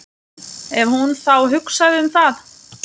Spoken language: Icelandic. Ef hún þá hugsaði um það.